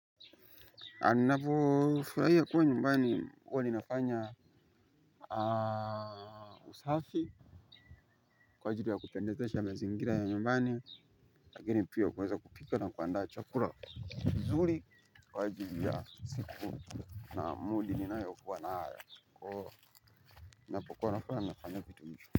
Ninapofurahia kuwa nyumbani huwa ninafanya usafi kwa ajili ya kupendezesha mazingira ya nyumbani lakini pia kuweza kupika na kuandaa chakuna. Nzuri kwa ajili ya siku na moodi ninayokuwa nayo kwa hiyo ninapokuwa nafanya kitu.